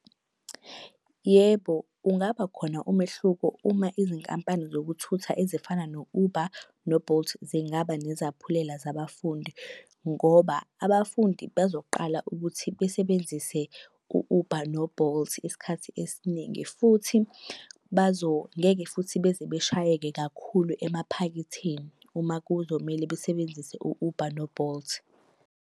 Yebo, ungaba khona umehluko uma izinkampani zokuthutha ezifana no-Uber no-Bolt zingaba nezaphulelo zabafundi. Ngoba abafundi bazoqala ukuthi besebenzise u-Uber no-Bolt isikhathi esiningi futhi ngeke futhi beze beshayeke kakhulu emaphaketheni uma kuzomele besebenzise u-Uber no-Bolt.